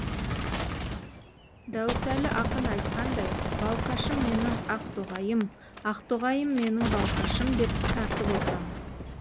дәуітәлі ақын айтқандай балқашым менің ақтоғайым ақтоғайым менің балқашым деп тартып отырамын